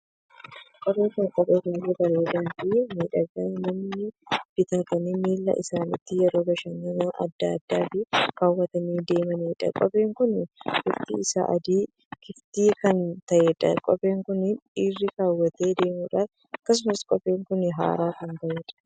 Kopheen kun kophee baay'ee bareedaa Fi miidhagaa namoonni bitatanii miillaa isaaniitti yeroo bashannana addaa addaaf kaawwatanii deemaniidha. Kopheen kun bifti isaa adii kiftii kan taheedha. Kophee kun dhiirri kaawwatee deemuudha. Akkasumas kopheen kun haaraa kan taheedha.